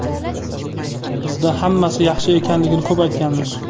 Bizda hammasi yaxshi ekanligini ko‘p aytganmiz.